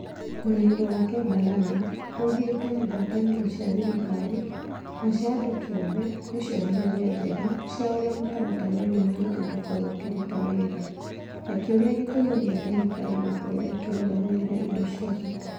Mwena-inĩ wake Balala augĩte ngwatanĩro cia thirikari na cia andũ kiũmbe nĩ cionereria njega. Cia ũrĩa mũtaratara ũyũ mwerũ ungĩkorwo ukĩruta wĩra. Akĩũria gĩtũmi gĩa thirikari gũkorwo ĩkĩrũgamĩrĩra indo cia bata.